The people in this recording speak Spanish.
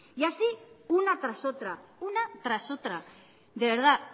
y así una tras otra una tras otra de verdad